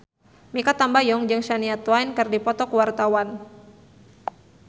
Mikha Tambayong jeung Shania Twain keur dipoto ku wartawan